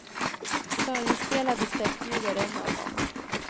Förinspelade steppljud är en av dem.